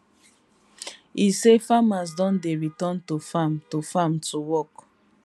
e say farmers don dey return to farm to farm to work